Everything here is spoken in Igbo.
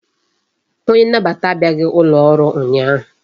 Onye nnabata abịaghi ụlọ ọrụ ụnyaahụ